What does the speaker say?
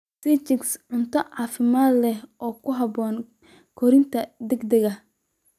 Sii chicks cunto caafimaad leh oo ku haboon korriinka degdega ah.